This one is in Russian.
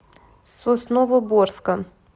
сосновоборска